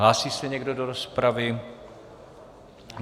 Hlásí se někdo do rozpravy?